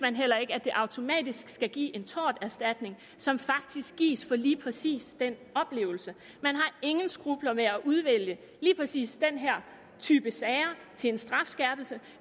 at det automatisk skal give en torterstatning som faktisk gives for lige præcis den oplevelse man har ingen skrupler med at udvælge lige præcis den her type sager til en strafskærpelse